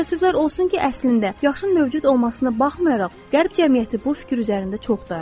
Təəssüflər olsun ki, əslində yaşın mövcud olmasına baxmayaraq Qərb cəmiyyəti bu fikir üzərində çox dayanır.